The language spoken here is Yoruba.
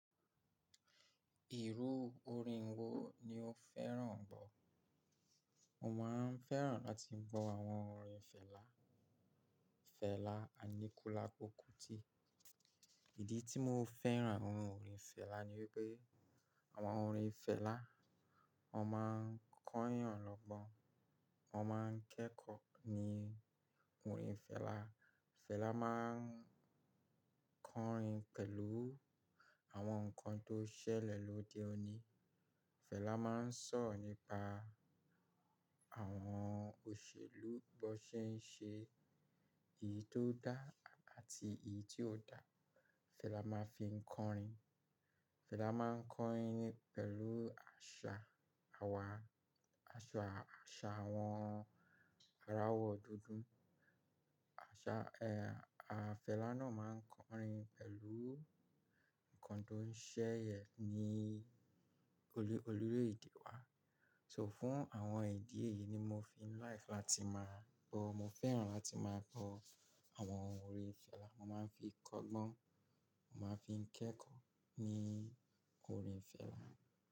Ìru orin wo ni o fẹ́ràn gbọ́? Mo máa ń fẹ́ràn láti gbọ́ àwọn orin Fẹlá, Fẹlá Aníkúlápó Kútì. Ìdí tí mo fẹ́ràn àwọn orin Fẹlá ni wípé àwọn orin Fẹlá, wọn máa ń kọ́yàn lọ́gbọ́n, wọn máa ń kẹ́kọ̀ọ́ ní orin Fẹlá. Fẹlá máa ń kọrin pẹ̀lú àwọn nǹkan tó ṣẹlẹ̀ lóde òní. Fẹlá máa ń sọ̀rọ̀ nípa àwọn òṣèlú bó ṣe ń ṣe iyí tó dá àti èyí tí kò dá. Fẹlá máa ń fi kọrin. Fẹlá máa ń kọrin pẹ̀lú àṣà àwà, àṣà àṣà àwọn ará ọ̀wọ̀ dúdú. Àṣà, ẹ́ẹ́ Fẹlá náà máa ń kọrin pẹ̀lú nǹkan tó ń ṣẹlẹ̀ ní olú orile ede wà. So fún àwọn ìdí èyí ni mo fi ń like láti máa gbọ́. Mo fẹ́ràn láti máa gbọ́ àwọn orin Fẹlá. Mo máa ń fi kọ́gbọ́n, mo máa fi ń kẹ́kọ̀ọ́ ní orin Fẹlá.